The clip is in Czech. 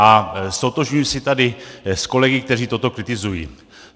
A ztotožňuji se tady s kolegy, kteří toto kritizují.